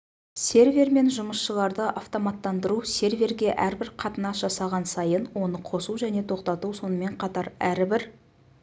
сервер мен жұмысшыларды автоматтандыру серверге әрбір қатынас жасаған сайын оны қосу және тоқтату сонымен қатар әрбір